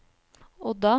Odda